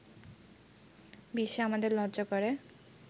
বিশ্বে আমাদের লজ্জা করে